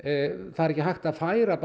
það er ekki hægt að færa